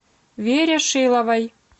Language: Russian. вере шиловой